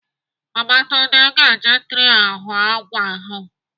Babatunde ga-eji tree ahọ àgwà ahụ.